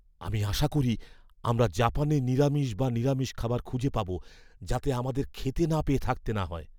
আমি আশা করি আমরা জাপানে নিরামিষ বা নিরামিষ খাবার খুঁজে পাব যাতে আমাদের খেতে না পেয়ে থাকতে না হয়।